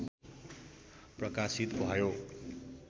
प्रकाशित भयो।